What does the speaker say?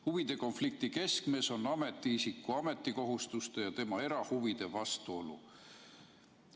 Huvide konflikti keskmes on ametiisiku ametikohustuste ja tema erahuvide vastuolu.